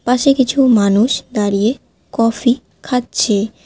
পাশে কিছু মানুষ দাঁড়িয়ে কফি খাচ্ছে।